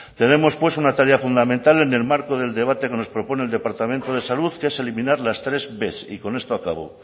tenemos pues una tarea fundamental en el marco del debate que nos propone el departamento de salud que es eliminar las tres b y con estos acabo